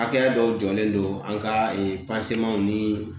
Hakɛya dɔw jɔlen don an ka ni